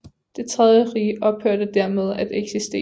Det tredje Rige ophørte dermed at eksistere